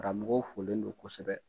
Karamɔgɔ folen don kosɛbɛ.